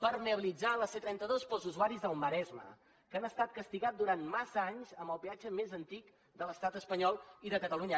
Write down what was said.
permeabilitzar la c trenta dos per als usuaris del maresme que han estat castigats durant massa anys amb el peatge més antic de l’estat espanyol i de catalunya